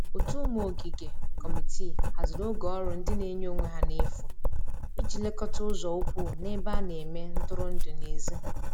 ótu ụmụ ogige/ Kọmitịị hazịrị oge ọrụ ndi n'enye onwe ha n'efu ịji lekota ụzo ukwu n'ebe ana eme ntụrụndụ n'ezi